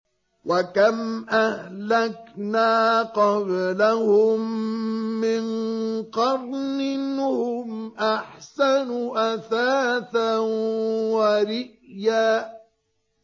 وَكَمْ أَهْلَكْنَا قَبْلَهُم مِّن قَرْنٍ هُمْ أَحْسَنُ أَثَاثًا وَرِئْيًا